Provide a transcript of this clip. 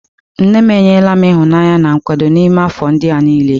Nne m enyela m ịhụnanya na nkwado n'ime afọ ndị a niile.